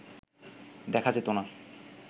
দেখা যেত না